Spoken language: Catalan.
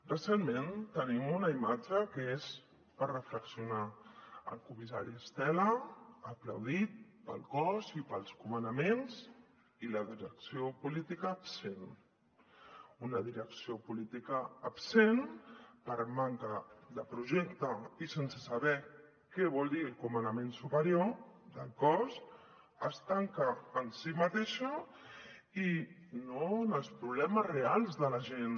recentment tenim una imatge que és per reflexionar el comissari estela aplaudit pel cos i pels comandaments i la direcció política absent una direcció política absent per manca de projecte i sense saber què vol dir el comandament superior del cos es tanca en si mateixa i no en els problemes reals de la gent